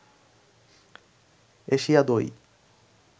Asia দই